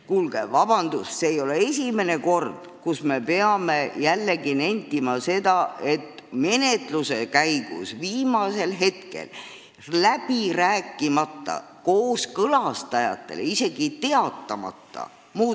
Kuulge, vabandust, see ei ole esimene kord, kui me peame nentima, et tekste muudetakse menetluse käigus viimasel hetkel ja läbi rääkimata kooskõlastajatega ja neile isegi teatamata.